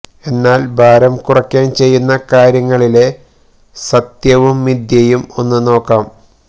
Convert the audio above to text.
എന്നാൽ ഭാരം കുറക്കാൻ ചെയ്യുന്ന കാര്യങ്ങളിലെ സത്യവും മിഥ്യയും ഒന്നു നോക്കാം